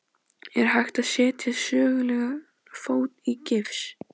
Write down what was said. Er hægt að setja sögulegan fót í gifs?